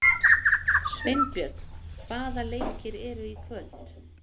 Sveinbjörn, hvaða leikir eru í kvöld?